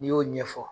N'i y'o ɲɛfɔ